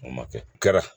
O ma kɛ kɛra